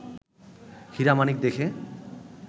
হীরা মাণিক দেখে